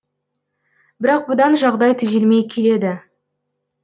бірақ бұдан жағдай түзелмей келеді